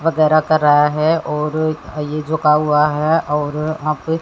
वगैरह कर रहा है और अ ये झुका हुआ है और वहां पे--